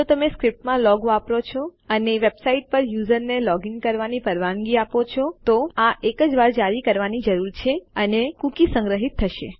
જો તમે સ્ક્રિપ્ટમાં લોગ વાપરી રહ્યા હોય અને તમે વેબસાઇટ પર વપરાશકર્તાને લોગીન કરવાની પરવાનગી આપતા હોય તો તમારે આ માત્ર એક જ વાર જારી કરવાની જરૂર છે અને પછી કૂકી સંગ્રહિત કરવામાં આવશે